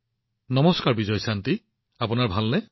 নমস্তে বিজয়শান্তিজী আপোনাৰ ভাল নে